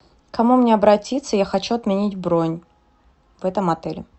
к кому мне обратиться я хочу отменить бронь в этом отеле